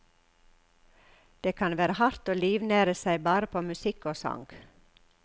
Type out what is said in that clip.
Det kan være hardt å livnære seg bare på musikk og sang.